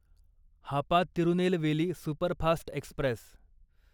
Hapa Tirunelveli superfast Express